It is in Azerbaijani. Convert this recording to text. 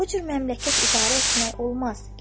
Bu cür məmləkət idarə etmək olmaz.